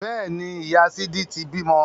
Bẹ́ẹ̀ni, ìyá sídí ti bímọ